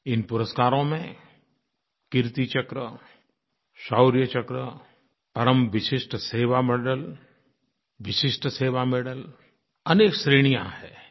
इन पुरस्कारों में Kirti Chakra Shaurya Chakra Param Vishisht Seva Medal Vishisht Seva Medal अनेक श्रेणियाँ हैं